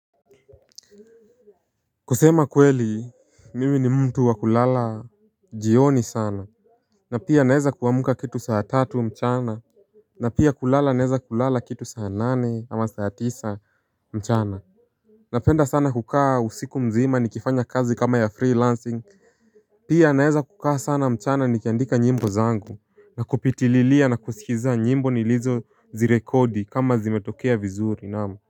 Kusema kweli mimi ni mtu wa kulala jioni sana. Na pia naweza kuamka kitu saa tatu mchana. Na pia kulala naweza kulala kitu saa nane ama saa tisa mchana. Napenda sana kukaa usiku mzima nikifanya kazi kama ya freelancing. Pia naweza kukaa sana mchana nikiandika nyimbo zangu. Na kupitililia na kusikiza nyimbo nilizozirekodi kama zimetokea vizuri naam.